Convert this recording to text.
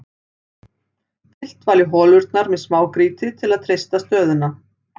Fyllt var í holurnar með smágrýti til að treysta stöðuna.